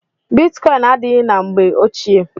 Bitkọin adịghị na mgbe ochie.